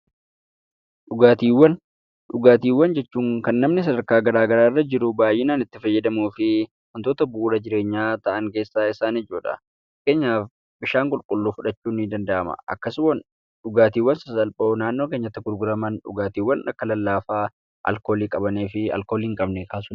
Dhugaatiiwwan: Dhugaatiiwwan jechuun kan namni sadarkaa gara garaa irra jiru baay'inaan itti fayyadamuu fi wantoota bu'uura jireenyaa ta'an keessaa isaan ijoodha. Fakkeenyaaf bishaan qulqulluu fidhachuun ni danda’ama. Akkasumas dhugaatiiwwan sasalphoo naannoo kèenyatti gurguraman dhugaatiiwwan akla lallaafaa, alkoolii kan qabanii fi hin qabnedha.